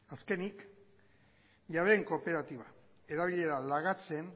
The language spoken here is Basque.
azkenik jabeen kooperatiba erabilera lagatzen